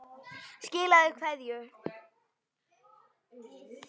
Skilaðu kveðju!